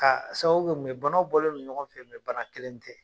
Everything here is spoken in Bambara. K'a sababu kɛ mun ye banaw bɔlen non ɲɔgɔn fɛ, bana kelen tɛ.